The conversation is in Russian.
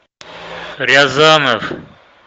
рязанов